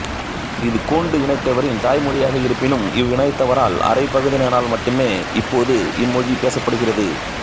இது கோண்டு இனத்தவரின் தாய்மொழியாக இருப்பினும் இவ்வினத்தவரில் அரைப்பகுதியினரால் மட்டுமே இப்போது இம்மொழி பேசப்படுகிறது